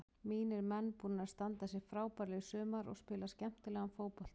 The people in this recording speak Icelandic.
Mínir menn búnir að standa sig frábærlega í sumar og spila skemmtilegan fótbolta.